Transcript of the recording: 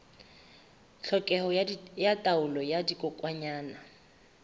tlhokeho ya taolo ya dikokwanyana